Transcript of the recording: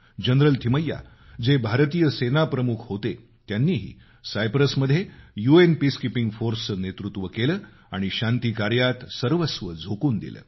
general Thimayya जे भारतीय सेनाप्रमुख होते त्यांनीही सायप्रसमध्ये यू एन पीसकीपिंग फोर्सचं नेतृत्व केलं आणि शांती काऱ्यात सर्वस्व झोकून दिलं